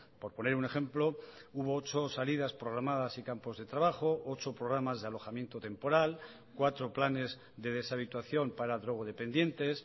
por poner un ejemplo hubo ocho salidas programadas y campos de trabajo ocho programas de alojamiento temporal cuatro planes de deshabituación para drogodependientes